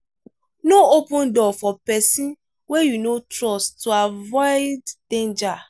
no open door for person wey you no trust to avoid danger